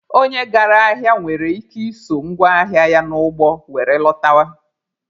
Onye gara ahịa nwere ike iso ngwa ahịa ya n'ụgbọ were lọtawa.